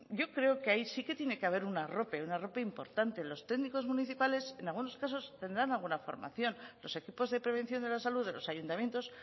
yo creo que ahí sí tiene que haber un arrope un arrope importante los técnicos municipales en algunos casos tendrán alguna formación los equipos de prevención de la salud de los ayuntamientos